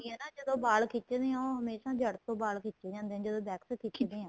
ਹੁੰਦੀ ਏ ਨਾ ਜਦੋਂ ਵਾਲ ਖਿੱਚਦੇ ਹਾਂ ਉਹ ਹਮੇਸ਼ਾ ਜੜ ਤੋ ਵਾਲ ਖਿੱਚੇ ਜਾਂਦੇ ਨੇ ਜਦੋਂ wax ਖਿੱਚਦੇ ਏ